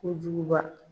Kojuguba